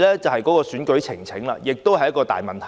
此外，選舉呈請亦是一個大問題。